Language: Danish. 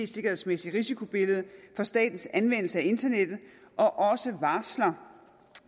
sikkerhedsmæssige risikobillede for statens anvendelse af internettet og også varsler